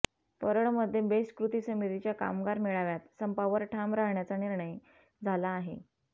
परळमध्ये BEST कृती समितीच्या कामगार मेळाव्यात संपावर ठाम राहण्याचा निर्णय झाला आहे